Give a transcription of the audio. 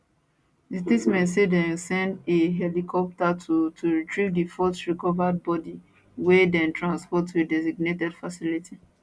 di statement say dem send a helicopter to to retrieve di fourth recovered body wey dem transport to a designated facility